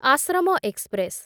Ashram express